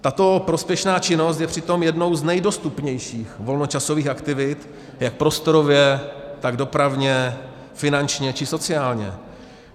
Tato prospěšná činnost je přitom jednou z nejdostupnějších volnočasových aktivit jak prostorově, tak dopravně, finančně či sociálně.